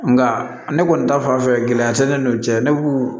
Nka ne kɔni ta fanfɛ gɛlɛya tɛ ne n'u cɛ ne b'u